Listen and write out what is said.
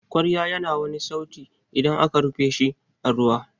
kwarya ya na wani sauti idan aka rufe shi a ruwa.